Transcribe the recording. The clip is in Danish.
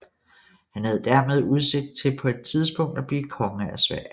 Han havde dermed udsigt til på et tidspunkt at blive konge af Sverige